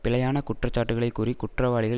பிழையான குற்றச்சாட்டுக்களை கூறி குற்றவாளிகள்